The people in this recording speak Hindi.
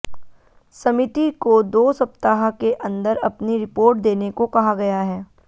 समिति को दो सप्ताह के अंदर अपनी रिपोर्ट देने को कहा गया है